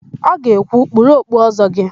Ọ ga-ekwu, "kpuru okpu Ọ́zọ́ gị"!